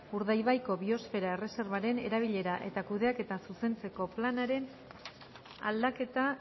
urdaibaiko biosfera erreserbaren erabilera eta kudeaketa zuzentzeko planaren aldaketa